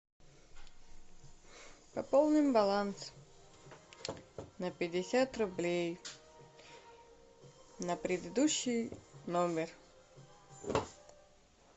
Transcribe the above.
пополнить баланс на пятьдесят рублей на предыдущий номер